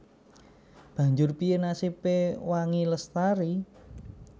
Banjur piyé nasibé Wangi Lestari